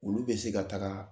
Olu bɛ se ka taaga